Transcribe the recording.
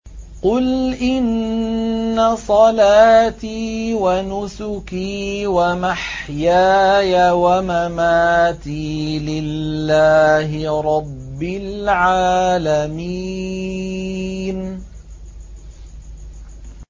قُلْ إِنَّ صَلَاتِي وَنُسُكِي وَمَحْيَايَ وَمَمَاتِي لِلَّهِ رَبِّ الْعَالَمِينَ